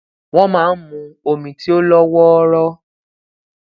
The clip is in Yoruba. wón máa n mu omi tí ó lọ wooro